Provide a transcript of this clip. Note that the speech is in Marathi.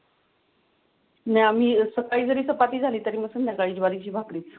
ना मी असा जि जरी चपाती झाली तरी मग संध्याकाळी ज्वारीची भाकरीच.